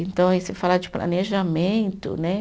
Então, aí se falar de planejamento, né?